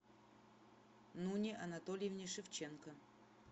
нуне анатольевне шевченко